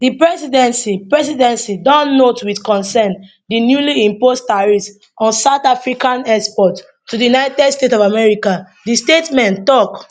di presidency presidency don note wit concern di newly imposed tariffs on south african exports to di united states of america di statement tok